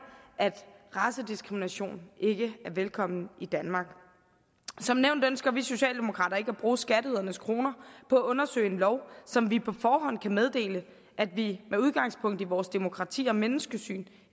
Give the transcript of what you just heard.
at racediskrimination ikke er velkommen i danmark som nævnt ønsker vi socialdemokrater ikke at bruge skatteydernes kroner på at undersøge en lov som vi på forhånd kan meddele at vi med udgangspunkt i vores demokrati og menneskesyn